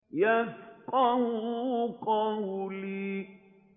يَفْقَهُوا قَوْلِي